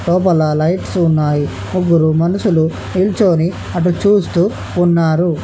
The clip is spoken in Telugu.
లోపల లైట్స్ ఉన్నాయి ముగ్గురు మనుషులు నిల్చొని అటు చూస్తూ ఉన్నారు.